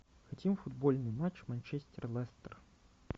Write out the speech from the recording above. хотим футбольный матч манчестер лестер